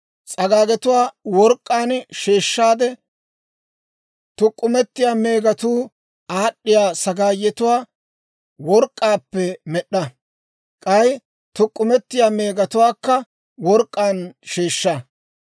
S'agaagetuwaa work'k'aan sheeshshaade, tuk'k'umetiyaa meegatuu aad'd'iyaa sagaayetuwaa work'k'aappe med'd'a; k'ay tuk'k'umetiyaa meegatuwaakka work'k'aan sheeshsha.